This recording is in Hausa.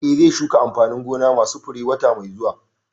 Eh, zai shuka amfanin gona ma su fure wata mai zuwa